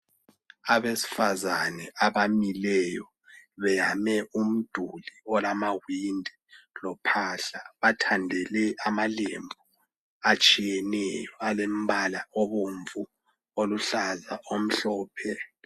Abesifazana abamileyo beyame umduli olamawindi lophahla bathandele amalembu atshiyeneyo alembala obomvu oluhlaza omhlophe.